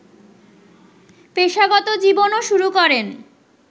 পেশাগত জীবনও শুরু করেন